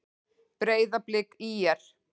Breiðablik- ÍR